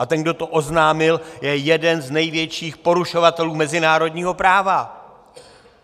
A ten, kdo to oznámil, je jeden z největších porušovatelů mezinárodního práva.